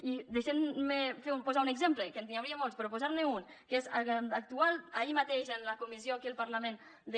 i deixeu me posar un exemple que n’hi hauria molts per posar ne un que és actual ahir mateix a la comissió aquí al parlament de